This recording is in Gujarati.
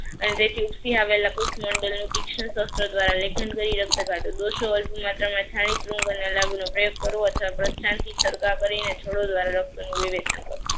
અને જેથી ઉપસી આવેલા મોડલનું તીક્ષણ શસ્ત્ર દ્વારા લેખન કરી રક્ત કાઢવું. દોષો અલ્પ માત્રામાં છાણી પ્રયોગ કરવો અથવા ધ્યાનથી સરખા કરીને છોડો દ્વારા રક્તનું નિવેદ કરવું.